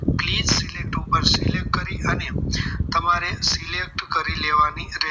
Valied ઉપર select કરી અને તમારે select કરી લેવાની